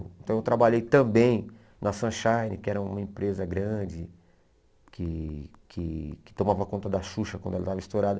Então, eu trabalhei também na Sunshine, que era uma empresa grande que que que tomava conta da Xuxa quando ela estava estourada.